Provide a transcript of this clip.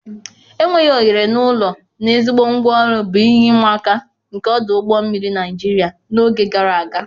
Enweghị ohere na ụlọ na ezigbo ngwa ọrụ bụ ihe ịma aka nke ọdụ ụgbọ mmiri Nigeria n'oge gara aga.